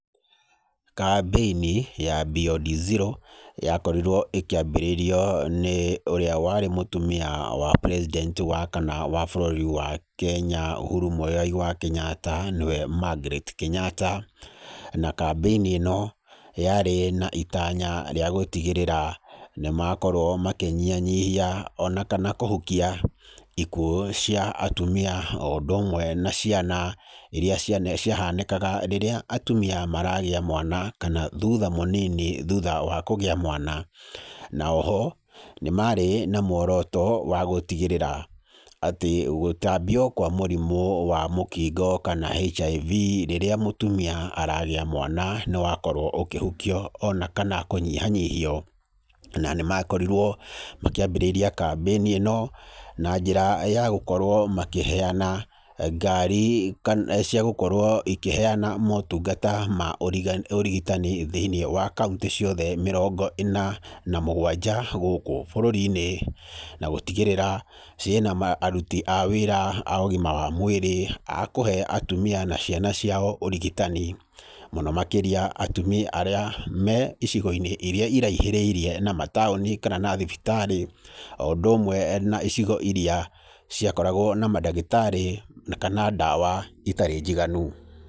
Kambĩini ya Beyond Zero yakorirwo ĩkĩambĩrĩrio nĩ ũrĩa warĩ mũtumia wa president wa kana wa bũrũri wa Kenya Uhuru Muigai wa Kenyatta nĩwe Margaret Kenyatta, na kambĩini ĩno yarĩ na itanya rĩa gũtigĩrĩra nĩmakorwo makĩnyihanyihia ona kana kũhukia ikuũ cia atumia oũndũ ũmwe na ciana iria ciane, ciahanĩkaga rĩrĩa atumia maragĩa mwana kana thuutha mũnini thuutha wa kũgĩa mwana. Na oho nĩmaarĩ na mworoto wa gũtigĩrĩra atĩ gũtambio kwa mũrimũ wa mũkingo kana HIV rĩrĩa mũtumia aragĩa mwana nĩwakorwo ũkĩhukio ona kana kũnyihanyihio. Na nĩmakorirwo makĩambĩrĩria kambĩini ĩno na njĩra ya gũkorwo makĩheana ngari kana, ciagũkorwo ĩkĩheana motungata ma ũriga, ũrigitani thĩiniĩ wa kaũntĩ ciothe mĩrongo ĩna na mũgwanja gũkũ bũrũri-inĩ, na gũtigĩrĩra ciĩna ma, aruti a wĩra a ũgima wa mwĩrĩ a kũhe atumia na ciana ciao ũrigitani, mũno makĩria atumia arĩa me icigo-inĩ iria iraihĩrĩirie na mataũni kana na thibitari, oũndũ ũmwe na icigo iria ciakoragwo na mandagĩtarĩ kana ndawa itarĩ njiganu.